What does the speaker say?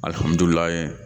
Alihamudulila